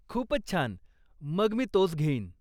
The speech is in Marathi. खूपच छान! मग मी तोच घेईन.